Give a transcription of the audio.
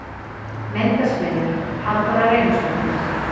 Myndasmiður: Halldóra Reynisdóttir.